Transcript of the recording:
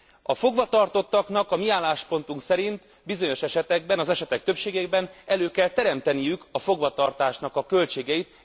A fogvatartottaknak a mi álláspontunk szerint bizonyos esetekben, az esetek többségében, elő kell teremteniük a fogva tartás költségeit.